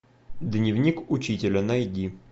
дневник учителя найди